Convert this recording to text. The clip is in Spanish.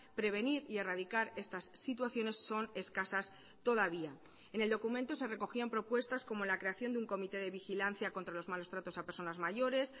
prevenir y erradicar estas situaciones son escasas todavía en el documento se recogían propuestas como la creación de un comité de vigilancia contra los malos tratos a personas mayores